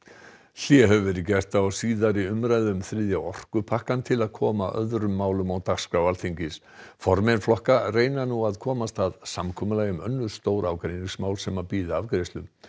hlé hefur verið gert á síðari umræðu um þriðja orkupakkann til að koma öðrum málum á dagskrá Alþingis formenn flokka reyna nú að komast að samkomulagi um önnur stór ágreiningsmál sem bíða afgreiðslu